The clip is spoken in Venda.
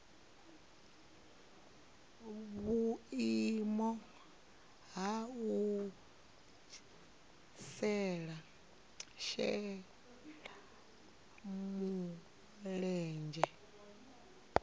vhuimo ha u shela mulenzhe